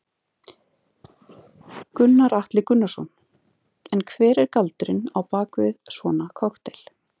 Gunnar Atli Gunnarsson: En hver er galdurinn bak við svona kokteil?